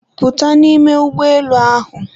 Pụta n'ime ụgbọelu ahụ!